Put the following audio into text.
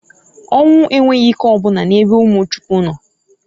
Onwu enwghi ike o buna n'ebe umu Chukwu no.